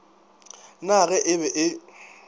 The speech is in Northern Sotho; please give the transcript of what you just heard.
na ge e be e